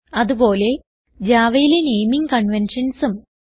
അത്പോലെ javaയിലെ നേമിംഗ് conventionsഉം